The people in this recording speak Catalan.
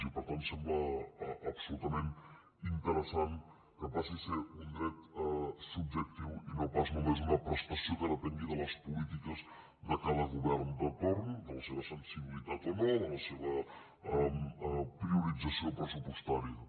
i per tant sembla absolutament interessant que passi a ser un dret subjectiu i no pas només una prestació que depengui de les polítiques de cada govern de torn de la seva sensibilitat o no de la seva priorització pressupostària